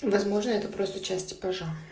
возможно это просто часть типажа